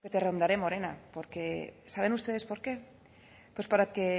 que te rondaré morena porque saben ustedes por qué pues porque